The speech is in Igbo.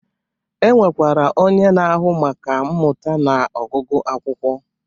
E nwekwara onye na-ahụ maka mmụta na ọgụgụ akwụkwọ.